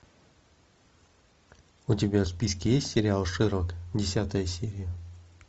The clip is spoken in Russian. у тебя в списке есть сериал шерлок десятая серия